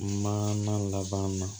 Maana laban na